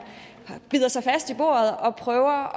bider sig fast i bordet og prøver